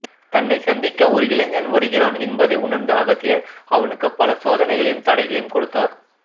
தன்னைச் சந்திக்க ஒரு இளைஞன் வருகிறான் என்பதை உணர்ந்த அகத்தியர் அவனுக்கு பல சோதனைகளையும் தடைகளையும் கொடுத்தார்